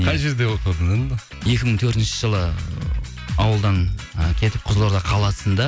қай жерде оқыдың екі мың төртінші жылы ауылдан і кетіп қызылорда қаласында